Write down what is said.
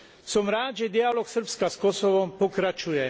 Som rád, že dialóg Srbska s Kosovom pokračuje.